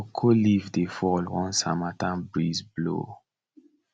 cocoa leaf dey fall once harmattan breeze blow